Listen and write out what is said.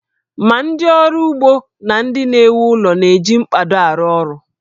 Ma ndị ọrụ ugbo na ndị na-ewu ụlọ na-eji mkpado arụ ọrụ